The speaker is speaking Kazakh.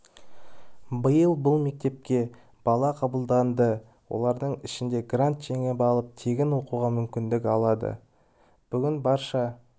биыл бұл мектепке бала қабылданды олардың ішінде грант жеңіп алып тегін оқуға мүмкіндік алды бүгін барша